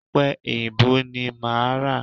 Ọ̀pẹ èyìǹbó ni máa ra.